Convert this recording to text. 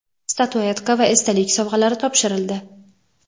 statuetka va esdalik sovg‘alari topshirildi.